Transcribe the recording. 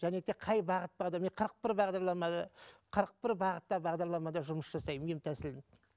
және де қай бағыт бағдар мен қырық бір бағдарламада қырық бір бағытта бағдарламада жұмыс жасаймын ем тәсілін